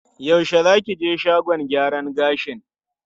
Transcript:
Yaushe za ki je shagon gyaran gashin?